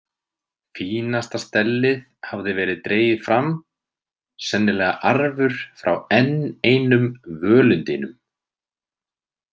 Fínasta stellið hafði verið dregið fram, sennilega arfur frá enn einum völundinum.